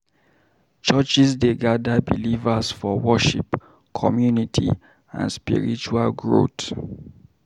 Churches dey gather believers for worship, community, and spiritual growth.